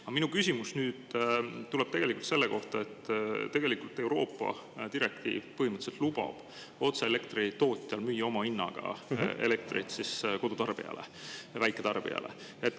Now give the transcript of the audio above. Aga minu küsimus tuleb selle kohta, et tegelikult Euroopa direktiiv põhimõtteliselt lubab otse elektritootjal müüa oma hinnaga elektrit kodutarbijale, väiketarbijale.